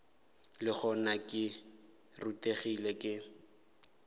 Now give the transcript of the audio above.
le gona ke rutegile ke